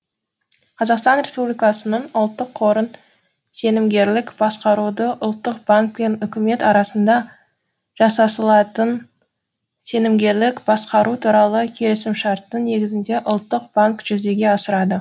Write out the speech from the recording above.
қазақстан республикасының ұлттық қорын сенімгерлік басқаруды ұлттық банк пен үкімет арасында жасасылатын сенімгерлік басқару туралы келісімшарттың негізінде ұлттық банк жүзеге асырады